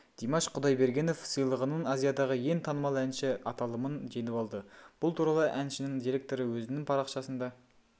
димаш құдайбергенов сыйлығының азиядағы ең танымал әнші аталымын жеңіп алды бұл туралы әншінің директоры өзінің парақшасында